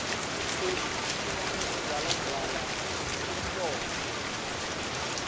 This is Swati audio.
inkhosi ihlome ugwalagwala emhloko